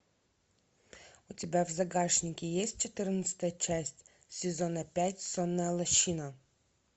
у тебя в загашнике есть четырнадцатая часть сезона пять сонная лощина